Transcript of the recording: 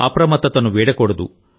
అప్రమత్తతను వీడకూడదు